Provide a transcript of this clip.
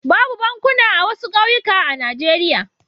Babu bankuna a wasu ƙauyukan a Najeriya.